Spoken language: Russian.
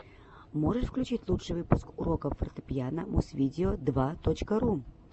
можешь включить лучший выпуск уроков фортепиано музвидео два точка ру